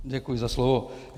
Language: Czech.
Děkuji za slovo.